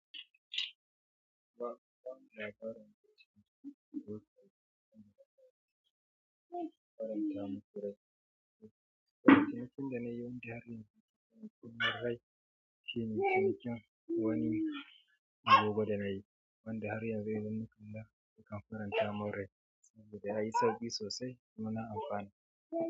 Tun bikin da na yi wani da har yanzu, marai shine cinikin wani abubuwa da na yi, wanda har yanzu yanayin kamfanin ta marai saboda ya yi sauki sosai kuma na amfana.